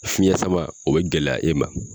Fiɲɛ sama o bɛ gɛlɛya e ma.